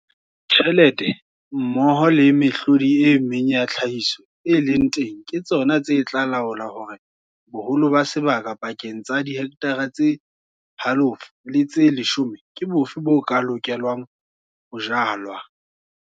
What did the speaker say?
Tjhelete mmoho le mehlodi e meng ya tlhahiso e leng teng ke tsona tse tla laola hore boholo ba sebaka pakeng tsa dihekthara tse 0, 5 le tse 10 ke bofe bo ka lokelang ho jalwa.